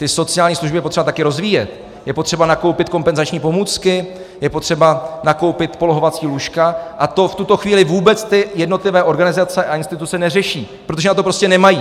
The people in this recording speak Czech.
Ty sociální služby je potřeba také rozvíjet, je potřeba nakoupit kompenzační pomůcky, je potřeba nakoupit polohovací lůžka a to v tuto chvíli vůbec ty jednotlivé organizace a instituce neřeší, protože na to prostě nemají.